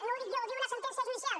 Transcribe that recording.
no ho dic jo ho diu una sentència judicial